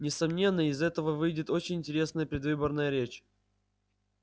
несомненно из этого выйдет очень интересная предвыборная речь